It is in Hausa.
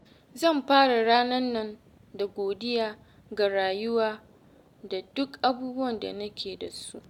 Zan fara ranan nan da godiya ga rayuwa da duk abubuwan da nake da su.